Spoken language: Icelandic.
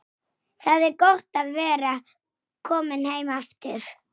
Ég skal sýna þér hvar.